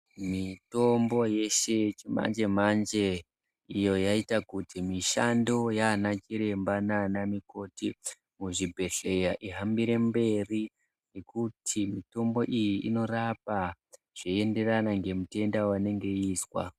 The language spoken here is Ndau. Mitombo yeshe yechimanje manje iyo iyaita kuti mishando Yana chiremba nana mukoti muzvibhodhlera zvihambirw mberi nekuti mitombo iyi inorapa zveinderana nemitenda yainenge yaiswa.